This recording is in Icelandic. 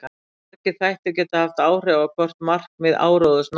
Margir þættir geta haft áhrif á hvort markmið áróðurs náist.